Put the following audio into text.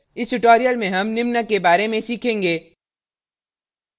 इस tutorial में हम निम्न के बारे में सीखेंगे